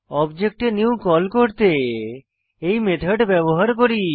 object এ new call করতে এই মেথড ব্যবহার করি